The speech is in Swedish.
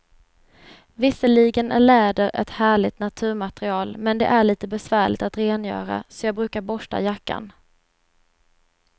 Visserligen är läder ett härligt naturmaterial, men det är lite besvärligt att rengöra, så jag brukar borsta jackan.